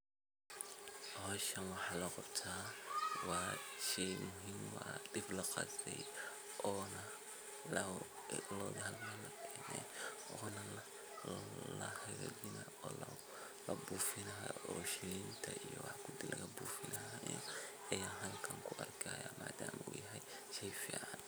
Howshan waxaa loo qabta waa shey muhiim uah waa dib laqasey oona loodha lamarinaya oona lahagajina oo labuufina oo shilinta iyo wax kudinlagabuufina ayan halkan kuarkaya maadam uu yahay she y fican.